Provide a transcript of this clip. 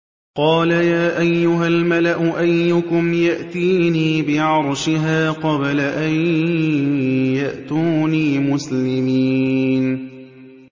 قَالَ يَا أَيُّهَا الْمَلَأُ أَيُّكُمْ يَأْتِينِي بِعَرْشِهَا قَبْلَ أَن يَأْتُونِي مُسْلِمِينَ